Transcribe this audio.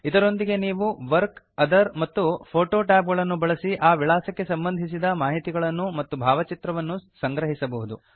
ಇದರೊಂದಿಗೆ ನೀವು work other ಮತ್ತು ಫೋಟೋ ಟ್ಯಾಬ್ ಅನ್ನು ಬಳಸಿ ಆ ವಿಳಾಸಕ್ಕೆ ಸಂಬಂಧಿಸಿದ ಮಾಹಿತಿಗಳನ್ನು ಮತ್ತು ಭಾವಚಿತ್ರವನ್ನು ಸಂಗ್ರಹಿಸಬಹುದು